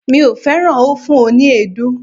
Mi ò fẹ́ràn ófùn oní èédú.